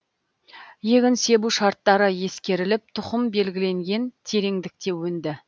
егін себу шарттары ескеріліп тұқым белгіленген тереңдікте өнді